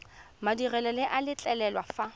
madirelo le a letlelela fa